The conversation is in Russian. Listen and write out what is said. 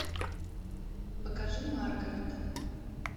покажи маргарет